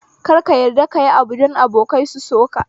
Kar ka yarda kayi abu don abokai su soka